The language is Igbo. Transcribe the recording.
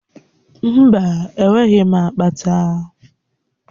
Mba, enweghị m akpata.